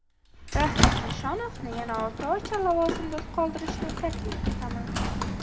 Rafiq Nishonovni yana olti oycha lavozimida qoldirishni taklif etaman.